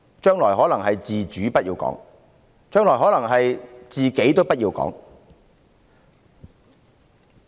將來可能是"自主"不要講，甚至"自己"也不要講。